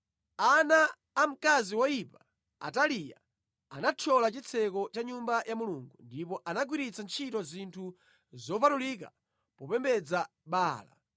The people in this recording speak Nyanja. Ana a mkazi woyipa, Ataliya, anathyola chitseko cha Nyumba ya Mulungu ndipo anagwiritsa ntchito zinthu zopatulika popembedza Baala.